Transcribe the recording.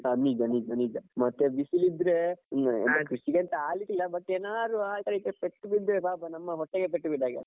ಹಾ ನಿಜ ನಿಜ ನಿಜ ಮತ್ತೆ ಬಿಸಿಲಿದ್ರೆ. ಕೃಷಿಗೆ ಎಂತ ಆಗ್ಲಿಕ್ಕಿಲ್ಲ but ಏನಾದ್ರು ಪೆಟ್ಟು ಬಿದ್ರೆ ಪಾಪ ನಮ್ಮ ಹೊಟ್ಟೆಗೆ ಪೆಟ್ಟು ಬಿದ್ದ ಹಾಗೆ ಅಲ್ಲ.